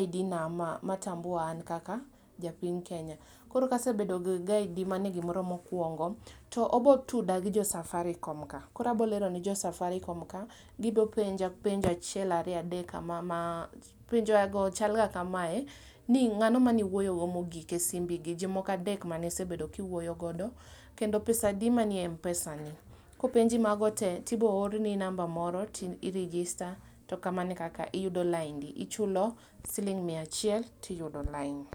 ID na ma tambua a kaka japiny Kenya. Koro ka asebedo gi ID mane gimoro mokuongo to obo tuda gi jo Safaricom ka, koro abo lero ne jo Safaricom ka, gibo penja penjo achiel ariyo adek kama, penjo go chal ga kamae, ni ngano mane iwuoyo go mogik e simbi, jomoko adek mane isebedo ka iwuoyo godo kendo pesa adi manie Mpesa ni, kopenji mago tee to ibiro orni namba moro ti i register to mana e kaka tiyudo laindi, ichulo siling mia achiel tiyudo lain